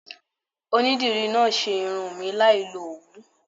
Onídìrí náà ṣe irun mi láì lo Òwú.